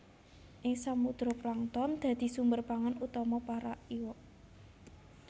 Ing samudra plankton dadi sumber pangan utama para iwak